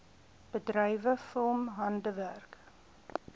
bedrywe film handwerk